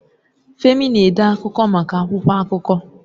Femi na-ede akụkọ maka akwụkwọ akụkọ.